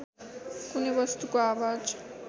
कुनै वस्तुको आवाज